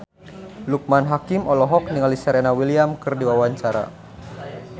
Loekman Hakim olohok ningali Serena Williams keur diwawancara